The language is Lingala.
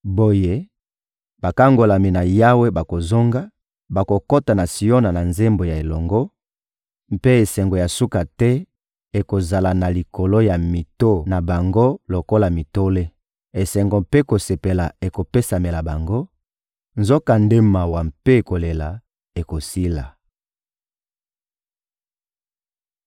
Boye, bakangolami na Yawe bakozonga, bakokota na Siona na nzembo ya elonga, mpe esengo ya suka te ekozala na likolo ya mito na bango lokola mitole. Esengo mpe kosepela ekopesamela bango, nzokande mawa mpe kolela ekosila.